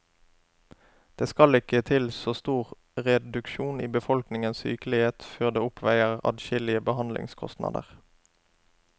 Det skal ikke til så stor reduksjon i befolkningens sykelighet før det oppveier adskillige behandlingskostnader.